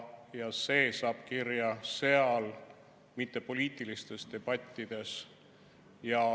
Ja see saab kirja seal, mitte poliitilistes debattides.